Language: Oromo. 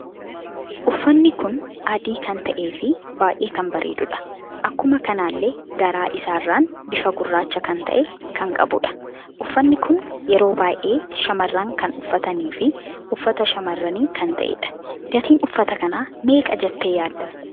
Uffanni kun adii kan ta'ee fi baay'ee kan bareedudha. akkuma kanallee garaa isaarran bifa gurraacha kan ta'e kan qabudha. Uffanni kun yeroo baay'ee shamarran kan uffatanii fi uffata shamarrani kan ta'edha. Gatiin uffata kana meeqa jette yaadda?